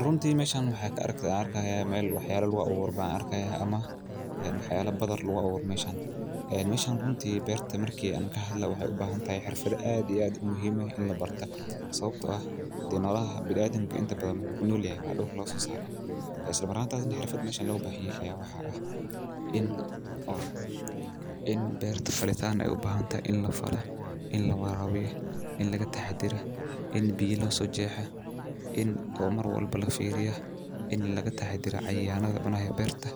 Runtii Meeshan waxaa ka arkay arka meel waxyaalo lugu aburo baan arka ah ama waxyaalo badan lugu aburo meeshan Meshan runtii beerta markii aanu ka hadlaa waxay u baahan tahay xirfado aad iyo aad u muhiimahay in la barta sababtoo ah dii nolaxa binaadan inkastoo badana ku noolyahay waa dhuul la soo saara. Isla maranta aadan xirfad meshan lagu baxi ayaa waxa ah; In ol, in beerta falitaano ay u baahan tahay, in la fala, in la waraawiyah, in laga taxadira, in biiya la soo jeexa, in oo mar walba la fiiriya, in laga taxadira caayaalaha una hee beerta.